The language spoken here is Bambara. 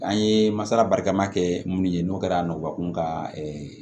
An ye masala barika ma kɛ mun ye n'o kɛra nɔgɔ kun ka